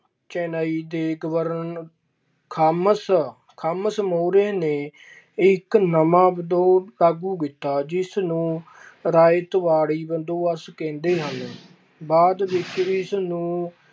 ਚੇਨੰਈ ਦੇ ਗਵਰਨਰ ਖਾਮਸ ਖਾਮਸ ਮਹੁਰੇ ਨੇ ਇੱਕ ਨਵਾਂ ਲਾਗੂ ਕੀਤਾ ਜਿਸ ਨੂੰ ਰਾਇਤਵਾੜੀ ਬੰਦੋਬਸਤ ਕਹਿੰਦੇ ਹਨ ਬਾਅਦ ਵਿੱਚ ਇਸਨੂੰ